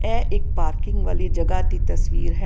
ਇਹ ਇੱਕ ਪਾਰਕਿੰਗ ਵਾਲੀ ਜਗ੍ਹਾ ਦੀ ਤਸਵੀਰ ਹੈ।